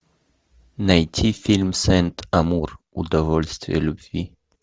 найти фильм сент амур удовольствие любви